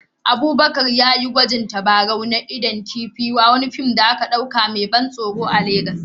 Abubakar ya yi gwaji da tabarau na idon kifi a wani fim mai ban tsoro da aka ɗauka a Legas